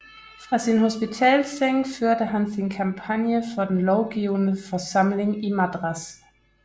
Fra sin hospitalsseng førte han sin kampagne for den lovgivende forsamling i Madras